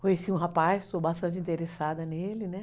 Conheci um rapaz, estou bastante interessada nele, né?